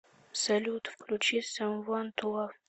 салют включи самуан ту лав